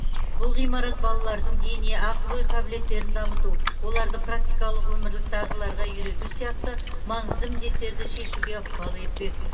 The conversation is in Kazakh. бұл ғимарат балалардың дене ақыл ой қабілеттерін дамыту оларды практикалық өмірлік дағдыларға үйрету сияқты маңызды міндеттерді шешуге ықпал етпек